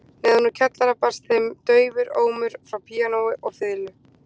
Neðan úr kjallara barst þeim daufur ómur frá píanói og fiðlu